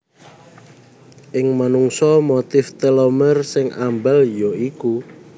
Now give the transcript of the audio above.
Ing manungsa motif telomer sing ambal ya iku